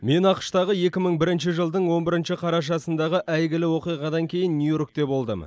мен ақш тағы екі мың бірінші жылдың он бірінші қарашасындағы әйгілі оқиғадан кейін нью йоркте болдым